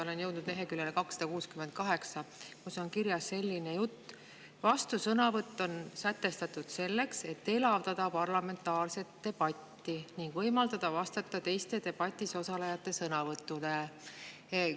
Olen jõudnud leheküljele 268, kus on kirjas selline jutt: "Vastusõnavõtt on sätestatud selleks, et elavdada parlamentaarset debatti ning võimaldada vastata teiste debatis osalejate sõnavõttudele.